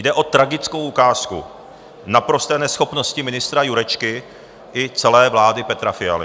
Jde o tragickou ukázku naprosté neschopnosti ministra Jurečky i celé vlády Petra Fialy.